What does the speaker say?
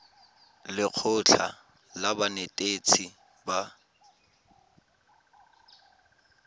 le lekgotlha la banetetshi ba